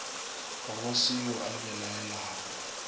go se yo a belaelago